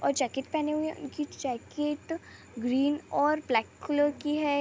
और जैकेट पहने हुए है और उनकी जैकेट ग्रीन और ब्लेक कलर की है।